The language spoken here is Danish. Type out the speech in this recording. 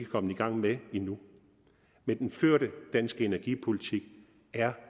kommet i gang med endnu men den førte danske energipolitik er